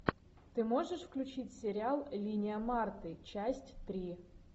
ты можешь включить сериал линия марты часть три